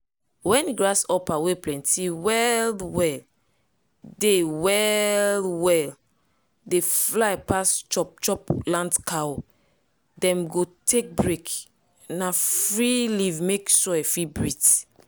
wen grasshopper wey plenty well-well dey well-well dey fly pass chop-chop land cow dem go take break na free leave mek soil fit breathe.